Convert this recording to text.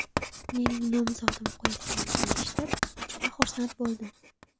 Mening nomzodim qo‘yilganini eshitib juda xursand bo‘ldim.